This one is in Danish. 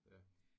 Ja